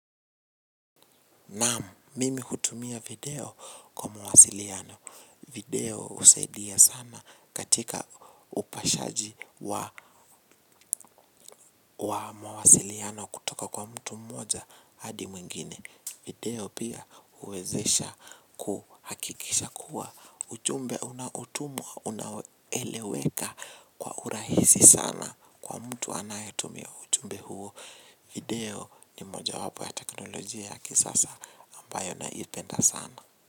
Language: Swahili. Naam, mimi hutumia video kwa mawasiliano. Video usaidia sana katika upashaji wa mawasiliano kutoka kwa mtu mmoja hadi mwingine. Video pia uwezesha kuhakikisha kuwa. Ujumbe unaotumwa, unaeleweka kwa urahisi sana kwa mtu anayetumia ujumbe huo. Video ni mojawapo ya teknolojia ya kisasa ambayo naipenda sana.